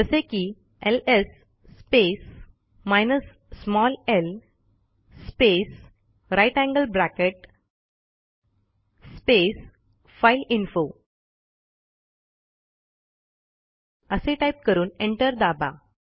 जसे की ls space minus small l space greater than sign space file info असे type करून एंटर दाबा